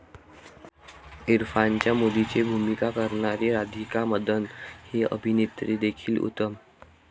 इरफानच्या मुलीची भूमिका करणारी राधिका मदन ही अभिनेत्रीदेखील उत्तम.